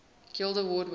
guild award winners